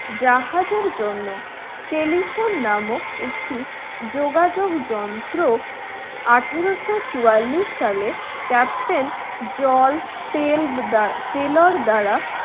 জাহাজের জন্য telephone নামক একটি যোগাযোগ যন্ত্র আঠারোশো চুয়াল্লিশ সালে ক্যাপ্টেন জল তেল টেলের দ্বারা